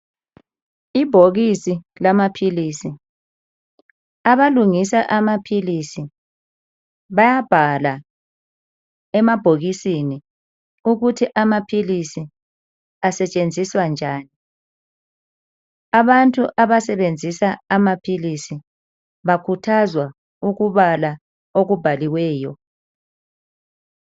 Ibhokisi lama philisi, abalungisa amaphilisi bayabhala emabhokisini ukuthi amaphilisi asetshenziswa njani abantu abasebenzisa amaphilisi bakhuthazwa ukubala okubhaliweyo.